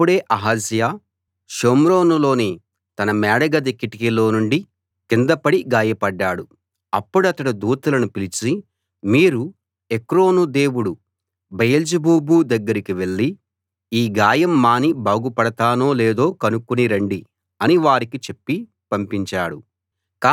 అప్పుడే అహజ్యా షోమ్రోనులోని తన మేడగది కిటికీలో నుండి కింద పడి గాయపడ్డాడు అప్పుడతడు దూతలను పిలిచి మీరు ఎక్రోను దేవుడు బయల్జెబూబు దగ్గరికి వెళ్ళి ఈ గాయం మాని బాగుపడతానో లేదో కనుక్కుని రండి అని వారికి చెప్పి పంపించాడు